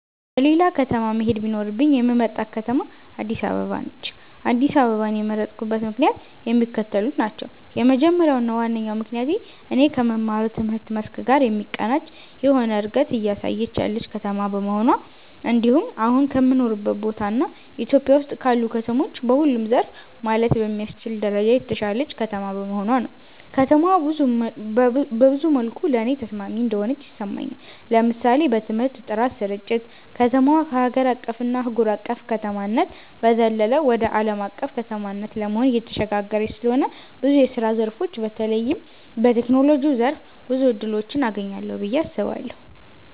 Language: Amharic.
ወደ ሌላ ከተማ መሄድ ቢኖርብኝ የምመርጣት ከተማ አድስ አበባ ነች። አድስ አበባን የመረጥኩበት ምክንያትም የሚከተሉት ናቸው። የመጀመሪያው እና ዋነኛው ምክንያቴ እኔ ከምማረው ትምህርት መስክ ጋር የሚቀናጅ የሆነ እንደገት እያሳየች ያለች ከተማ በመሆኗ እንድሁም አሁን ከምኖርበት ቦታ እና ኢትዮጵያ ውስጥ ካሉ ከተሞች በሁሉም ዘርፍ ማለት በሚያስችል ደረጃ የተሻለች ከተማ በመሆኗ ነው። ከተማዋ ብዙ መልኩ ለኔ ተስማሚ እንደሆነች ይሰማኛል። ለምሳሌ በትምህርት ጥራት ስርጭት፣ ከተማዋ ከሀገር አቀፍ እና አህጉር አቅፍ ከተማነት በዘለለ ወደ አለም አቀፍ ከተማነት ለመሆን እየተሸጋገረች ስለሆነ ብዙ የስራ ዘርፎች በተለይም በቴክኖሎጂው ዘርፍ ብዙ እድሎችን አገኛለሁ ብየ አስባለሁ።